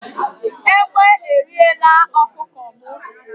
Ègbé e riẹ̀la ọkụkọ m